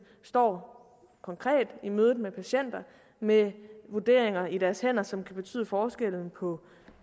står konkret i mødet med patienter med vurderinger i deres hænder som kan betyde forskellen på